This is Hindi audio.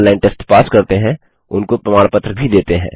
जो ऑनलाइन टेस्ट पास करते हैं उनको प्रमाण पत्र भी देते हैं